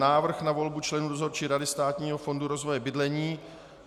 Návrh na volbu členů Dozorčí rady Státního fondu rozvoje bydlení